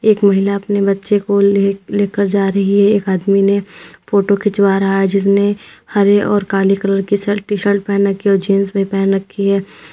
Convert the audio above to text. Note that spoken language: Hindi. एक महिला अपने बच्चे को ले लेकर जा रही है एक आदमी ने फोटो खिंचवा रहा है जिसने हरे और काले कलर की शर्ट टी_शर्ट पहन रखी है और जींस भी पहन रखी है।